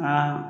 Aa